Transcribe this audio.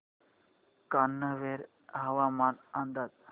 कान्हे हवामान अंदाज